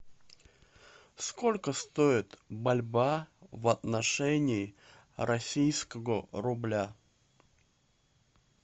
сколько стоит бальбоа в отношении российского рубля